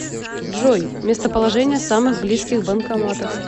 джой местоположение самых близких банкоматов